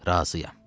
Razıyam.